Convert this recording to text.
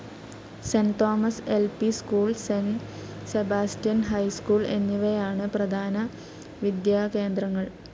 Saint Thomas LP. School, Saint Sebastian high school എന്നിവയാണ് പ്രധാന വിദ്യാകേന്ദ്രങ്ങൾ.